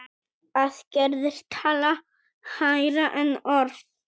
Aðgerðir tala hærra en orð.